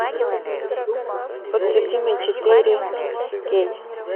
подсудимый четыре кей